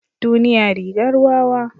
Duniya rigar wawa.